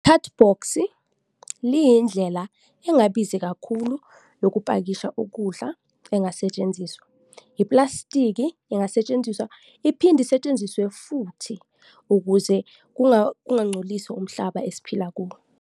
Cardbox-i liyindlela engabizi kakhulu lokupakisha ukudla engasetshenziswa. Iplastiki ingasetshenziswa iphinde isetshenziswe futhi ukuze kungangcoliswa umhlaba esiphila kuwo.